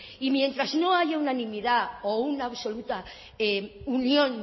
y mientras no haya unanimidad o una absoluta unión